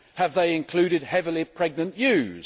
Have they included heavily pregnant ewes?